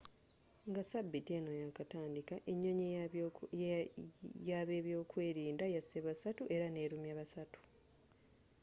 nga sabiiti eno yakatandika enyonyi y'abebyokwerinda yasse basatu era nelumya basatu